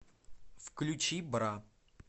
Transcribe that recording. включи бра